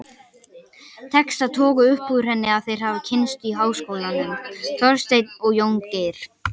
Tekst að toga upp úr henni að þeir hafi kynnst í háskólanum, Þorsteinn og Jóngeir.